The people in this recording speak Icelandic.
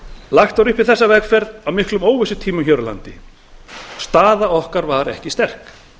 lagt var upp í þessa vegferð á miklum óvissutímum hér á landi staða okkar var ekki sterk